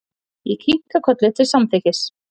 Ég kinkaði kolli til samþykkis.